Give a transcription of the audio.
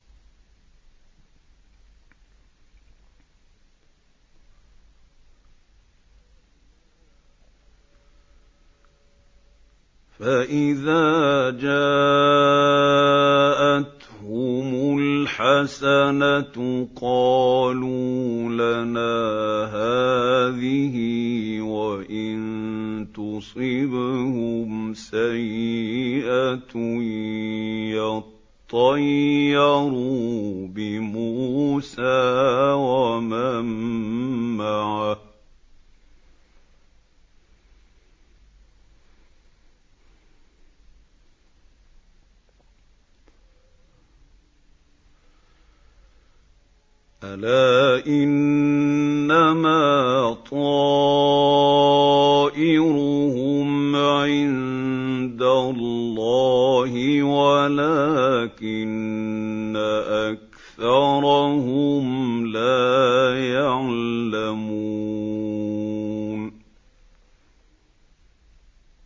فَإِذَا جَاءَتْهُمُ الْحَسَنَةُ قَالُوا لَنَا هَٰذِهِ ۖ وَإِن تُصِبْهُمْ سَيِّئَةٌ يَطَّيَّرُوا بِمُوسَىٰ وَمَن مَّعَهُ ۗ أَلَا إِنَّمَا طَائِرُهُمْ عِندَ اللَّهِ وَلَٰكِنَّ أَكْثَرَهُمْ لَا يَعْلَمُونَ